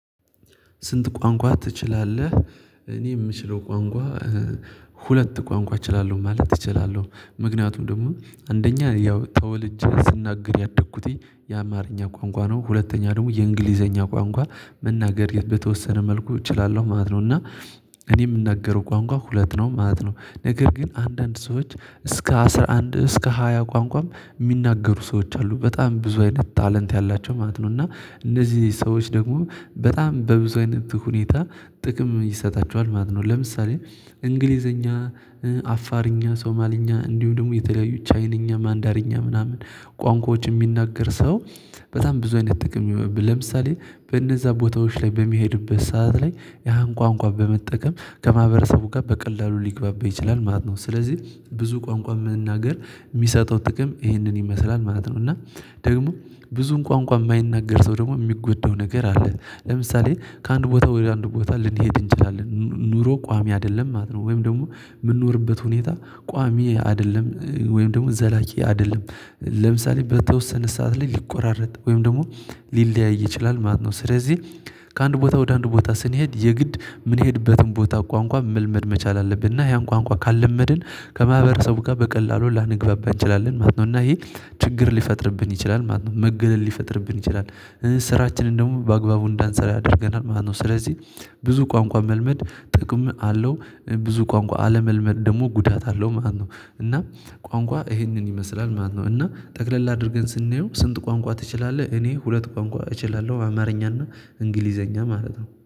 ስንት ቋንቋ ትችላለህ? እኔ የምችለው ቋንቋ ሁለት ቋንቋ እችላለሁ ማለት እችላለሁ ምክንያቱም ደግሞ አንደኛ ያው ተወልጄ ስናገር ያደግኩትኝ የአማርኛ ቋንቋ ነው ሁለተኛ ደግሞ የእንግሊዘኛ ቋንቋ መናገር የተወሰነ መልኩ እችላለሁ ማለት ነው። እና እኔ የምናገረው ቋንቋ ሁለት ነው ማለት ነው። ነገር ግን አንዳንድ ሰዎች እስከ አስራ አንድ እስከ ሃያ ቋንቋም የሚናገሩ ሰዎች አሉ በጣም ብዙ አይነት ታለንት ያላቸው ማለት ነው። እና እነዚህ ሰዎች ደግሞ በጣም በብዙ አይነት ሁኔታ ጥቅም ይሰጣቸዋል ማለት ነው። ለምሳሌ እንግሊዘኛ አፋርኛ ሶማልኛ እንዲሁ ደግሞ የተለያዩ ቻይንኛ ማንዳርኛ ምናምን ቋንቋዎች የሚናገር ሰው በጣም ብዙ አይነት ጥቅም ይሄውብ ለምሳሌ በእነዛ ቦታዎች ላይ በሚሄድበት ሰዓት ላይ ያን ቋንቋ በመጠቀም ከማህበረሰቡ ጋር በቀላሉ ሊግባባ ይችላል ማለት ነው። ስለዚህ ብዙ ቋንቋ መናገር የሚሰጠው ጥቅም ይህንን ይመስላል ማለት ነው። እና ደግሞ ብዙን ቋንቋ የማይናገር ሰው ደግሞ የሚጎዳው ነገር አለ ለምሳሌ ከአንድ ቦታ ወደ አንድ ቦታ ልንሄድ እንችላለን ኑሮ ቋሚ አይደለም ማለት ነው። ወይም ደግሞ የምንኖርበት ሁኔታ ቋሚ አይደለም ወይም ደግሞ ዘላቂ አይደለም ለምሳሌ በተወሰነ ሰዓት ላይ ሊቆራረጥ ወይም ደግሞ ሊለያይ ይችላል ማለት ነው። ስለዚህ ከአንድ ቦታ ወደ አንድ ቦታ ስንሄድ የግድ የምንሄድበትን ቦታ ቋንቋ መልመድ መቻል አለብንና ያን ቋንቋ ካልለመድን ከማህበረሰቡ ጋር በቀላሉ ላንግባባ እንችላለን ማለት ነው። እና ይሄ ችግር ሊፈጥርብን ይችላል ማለት ነው። መገለል ሊፈጥርብን ይችላል ስራችንን ደግሞ በአግባቡ እንዳንሰራ ያደርገናል ማለት ነው። ስለዚህ ብዙ ቋንቋ መልመድ ጥቅም አለው ብዙ ቋንቋ አለመልመድ ደግሞ ጉዳት አለው። ማነው እና ቋንቋ ይሄንን ይመስላል ማለት ነው። እና ጠቅለል አድርገን ስናየው ስንት ቋንቋ ትችላለህ? እኔ ሁለት ቋንቋ እችላለሁ አማርኛ እና እንግሊዘኛ ማለት ነው